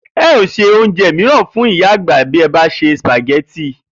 E̩ óò se oúnje̩ mìíràn fún ìyá àgbà bí e̩ bá se sìpàgé̩tì